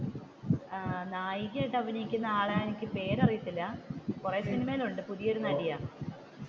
അഹ് നായികയായിട്ട് അഭിനയിക്കുന്ന ആളെ എനിക്ക് പേര് അറിയത്തില്ല കുറെ സിനിമയിലുണ്ട് പുതിയ ഒരു നടിയാണ്.